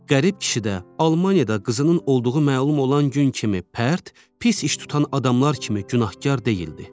Qərib kişi də Almaniyada qızının olduğu məlum olan gün kimi pərt, pis iş tutan adamlar kimi günahkar deyildi.